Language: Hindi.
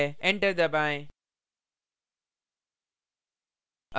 enter दबाएँ